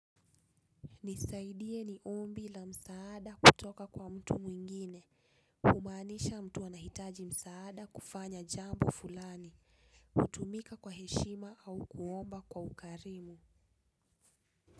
Nisaidie ni ombi la msaada kutoka kwa mtu mwingine. Humaanisha mtu anahitaji msaada kufanya jambo fulani. Hutumika kwa heshima au kuomba kwa ukarimu.